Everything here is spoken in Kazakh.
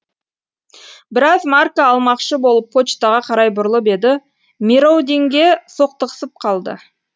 біраз марка алмақшы болып почтаға қарай бұрылып еді мероудинге соқтығысып қалды